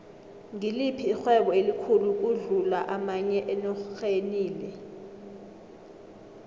ngiliphi ixhwebo elikhulu ukudlu amanye enorhenile